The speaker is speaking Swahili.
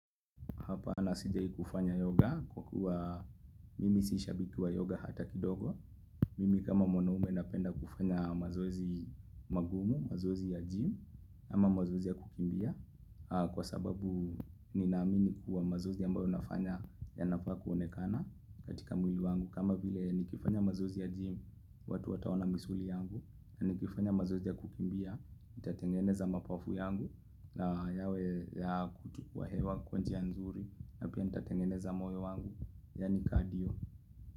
Hapanasijai kufanya yoga kwa kuwa mimi sisha biki wa yoga hata kidogo Mimi kama mwanaume napenda kufanya mazoezi magumu, mazoezi ya gym ama mazoezi ya kukimbia Kwa sababu ninaamini kuwa mazoezi ambayo nafanya ya nafaa kuonekana katika mwili wangu kama vile nikifanya mazoezi ya gym, watu wataona misuli yangu Nikifanya mazoezi ya kukimbia, itatengeneza mapafu yangu na yawe ya kutukua hewa kwa njia nzuri na pia nitatengeneza moyo wangu ya ni cardio.